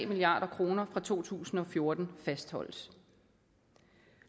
milliard kroner for to tusind og fjorten fastholdes